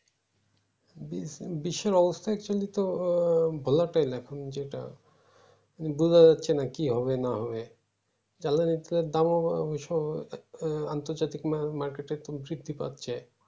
বিশ্বের অবস্থা actually তো ভালো তো না যেইটা বোঝা যাচ্ছে না কি হবে না হবে জ্বালানির যা দাম আবার আন্তর্জাতিক market এ এখন তৃপ্তি পাচ্ছে